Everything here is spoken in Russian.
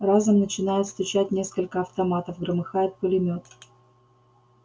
разом начинают стучать несколько автоматов громыхает пулемёт